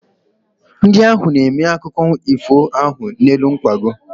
Ndị ahụ na-eme akụkụ ifo ahụ n'elu nkwago.